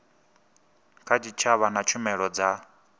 kha tshitshavha na tshumelo dza